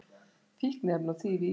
Fíkniefni og þýfi í íbúð